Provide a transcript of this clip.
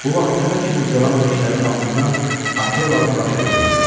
Bu vaxt təpə kimi ucalan leşlərin altından Akelanın başı göründü.